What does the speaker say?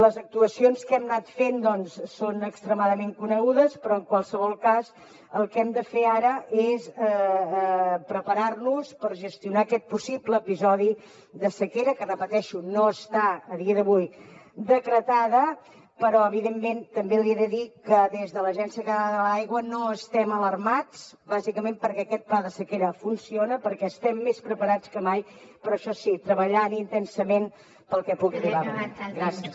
les actuacions que hem anat fent són extremadament conegudes però en qualsevol cas el que hem de fer ara és preparar nos per gestionar aquest possible episodi de sequera que repeteixo no està a dia d’avui decretada però evidentment també li he de dir que des de l’agència catalana de l’aigua no estem alarmats bàsicament perquè aquest pla de sequera funciona perquè estem més preparats que mai però això sí treballant intensament pel que pugui arribar a venir